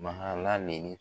Mahala